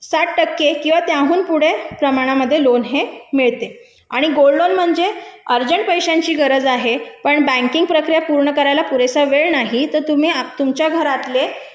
साठ टक्के किंवा त्याहून पुढे मनामध्ये लोन हे मिळते आणि गोल्ड लोन म्हणजे अर्जंट पैशाची गरज आहे पण बँके चे प्रक्रिया पूर्ण करायला पुरेसा वेळ नाही तर तुम्ही तुमच्या घरातले